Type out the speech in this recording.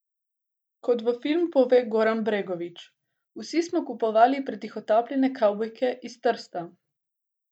Kot v filmu pove Goran Bregović: "Vsi smo kupovali pretihotapljene kavbojke iz Trsta.